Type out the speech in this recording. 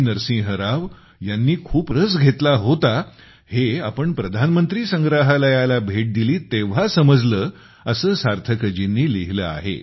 नरसिंह राव यांनी खूप रस घेतला होता हे आपण प्रधानमंत्री संग्रहालयाला भेट दिली तेव्हा समजले असे सार्थकजींनी लिहिले आहे